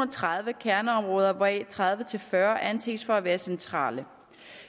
og tredive kerneområder hvoraf tredive til fyrre anses for at være centrale